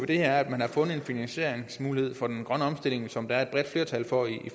det her er at man har fundet en finansieringsmulighed for den grønne omstilling som der er et bredt flertal for i